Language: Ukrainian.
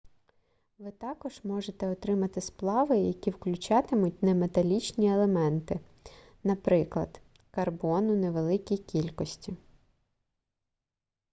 ви також можете отримати сплави які включатимуть неметалічні елементи наприклад карбон у невеликій кількості